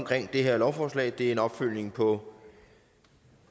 det her lovforslag det er en opfølgning på